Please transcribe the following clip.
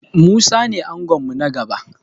Musa ne angon mu na gaba.